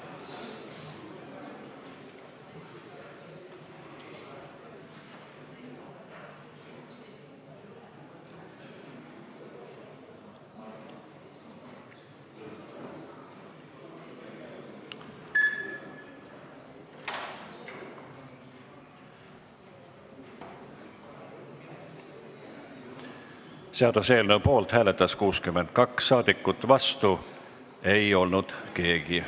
Hääletustulemused Seaduseelnõu poolt hääletas 62 rahvasaadikut, vastu ei olnud keegi.